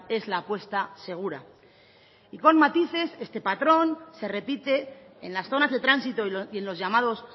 es la apuesta segura y con matices este patrón se repite en las zonas de tránsito y en los llamados